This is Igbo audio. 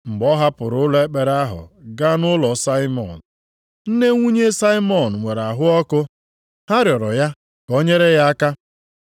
Mgbe ọ hapụrụ ụlọ ekpere ahụ gaa nʼụlọ Saimọn. Nne nwunye Saimọn nwere ahụ ọkụ, ha rịọrọ ya ka o nyere ya aka.